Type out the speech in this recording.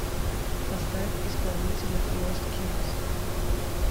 поставь исполнителя лост кингс